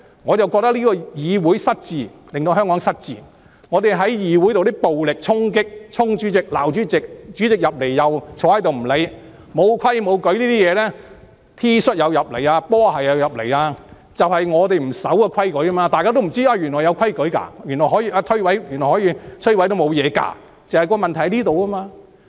我覺得這個議會失智，令香港失智；議會的暴力衝擊、衝向主席罵主席，主席進來也不理會，沒規沒矩，穿 T 恤、波鞋進入會議廳，正正是因為不守規矩，大家都不知道原來是有規矩的，原來可以將這些規矩摧毀也沒問題的，而這就是問題所在。